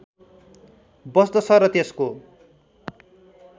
बस्दछ र त्यसको